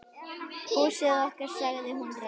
Húsið okkar.- sagði hún rám.